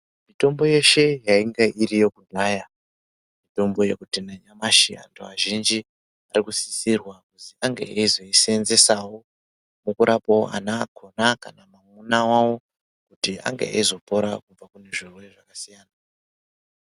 Mitombo yeshe yainge iriyo kudhaya, mitombo yekuti nanyamashi antu azhinji arikusisirwa kuzi ange eyizoyiseenzesawo, mukurapawo ana akona, kana kuti mwamuna wavo, kuti ange eyizopora kubva kuzvirwere zvakasiyana-siyana.